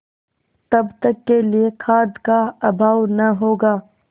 तब तक के लिए खाद्य का अभाव न होगा